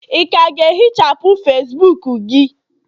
ị ka ga-ehichapụ Facibuku gị?